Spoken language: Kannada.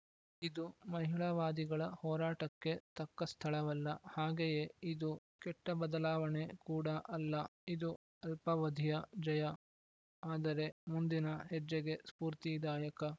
ಇದು ಮಹಿಳಾವಾದಿಗಳ ಹೋರಾಟಕ್ಕೆ ತಕ್ಕ ಸ್ಥಳವಲ್ಲ ಹಾಗೆಯೇ ಇದು ಕೆಟ್ಟಬದಲಾವಣೆ ಕೂಡ ಅಲ್ಲ ಇದು ಅಲ್ಪಾವಧಿಯ ಜಯ ಆದರೆ ಮುಂದಿನ ಹೆಜ್ಜೆಗೆ ಸ್ಫೂರ್ತಿದಾಯಕ